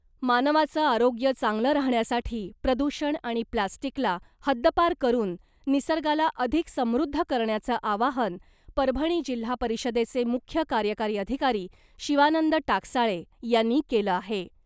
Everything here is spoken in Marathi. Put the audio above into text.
मानवाचं आरोग्य चांगलं राहण्यासाठी प्रदूषण आणि प्लास्टिकला हद्दपार करून , निसर्गाला अधिक समृद्ध करण्याचं आवाहन , परभणी जिल्हा परिषदेचे मुख्य कार्यकारी अधिकारी शिवानंद टाकसाळे यांनी केलं आहे .